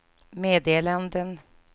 meddelanden